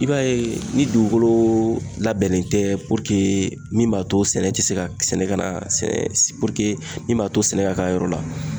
I b'a ye ni dugukolo labɛnnen tɛ min b'a to sɛnɛ tɛ se ka ,sɛnɛ ka na min b'a to sɛnɛ ka k'a yɔrɔ la